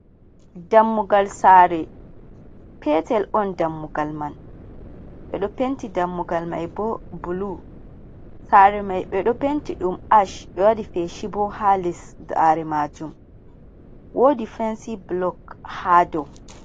Dammugal saare petel on dammugal man ɓe ɗo penti dammugal man bo blue, saare man ɓe ɗo penti ɗum harsh ɓɗ waɗi feshi bo haa les, saare maajum woodi fansi blok haa dow